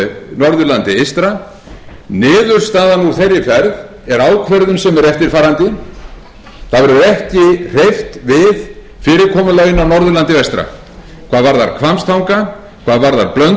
norðurlandi eystra niðurstaðan úr þeirri ferð er ákvörðun sem er eftirfarandi það verður ekki hreyft við fyrirkomulaginu á norðurlandi vestra hvað varðar hvammstanga hvað varðar blönduós hvað varðar sauðárkrók